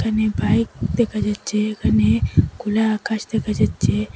এখানে বাইক দেখা যাচ্ছে এখানে খোলা আকাশ দেখা যাচ্ছে।